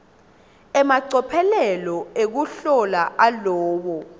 emacophelo ekuhlola alowo